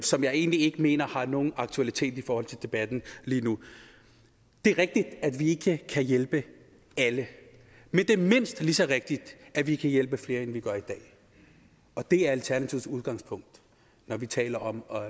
som jeg egentlig ikke mener har nogen aktualitet i forhold til debatten lige nu det er rigtigt at vi ikke kan hjælpe alle men det er mindst lige så rigtigt at vi kan hjælpe flere end vi gør i dag og det er alternativets udgangspunkt når vi taler om